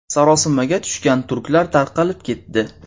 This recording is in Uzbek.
Sarosimaga tushgan turklar tarqalib ketdi.